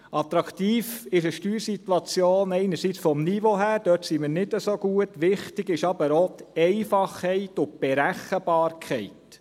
Attraktiv ist eine Steuersituation einerseits vom Niveau her – da sind wir nicht so gut –, wichtig sind aber auch die Einfachheit und die Berechenbarkeit.